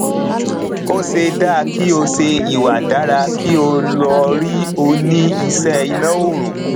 ose dá kí ó ṣe ìwà dára kí ó lọ rí òní ìṣe iná ọrùn